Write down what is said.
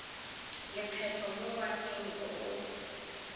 lekgetho mo ngwageng o o